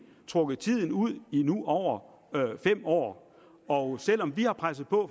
trukket tiden ud i nu over fem år og selv om vi har presset på